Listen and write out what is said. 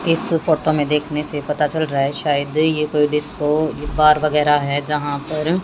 इस फोटो में देखने से पता चल रहा हैं शायद ये कोई डिस्को बार वगैरा है जहां पर--